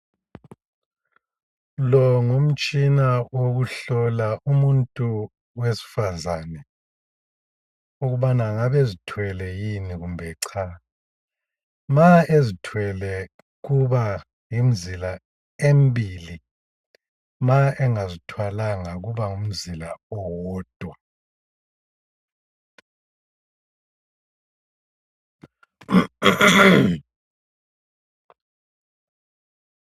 Lo ngumtshina wokuhlola umuntu wesifazane ukubana angabe ezithwele yini kumbe cha. Ma ezithwele kuba lemzila embili ma engazithwalanga kuba ngumzila owodwa.